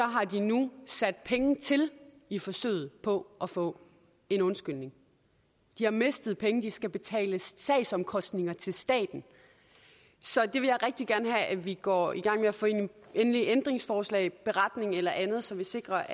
har de nu sat penge til i forsøget på at få en undskyldning de har mistet penge de skal betale sagsomkostninger til staten så det vil jeg rigtig gerne have at vi går i gang med at få ind i det endelige ændringsforslag en beretning eller andet så vi sikrer